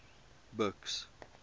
buks